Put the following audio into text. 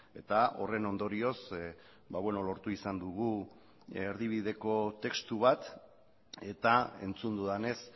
eta horren ondorioz lortu izan dugu erdibideko testu bat eta entzun dudanez